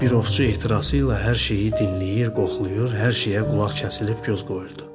Bir ovçu ehtirası ilə hər şeyi dinləyir, qoxlayır, hər şeyə qulaq kəsilib göz qoyurdu.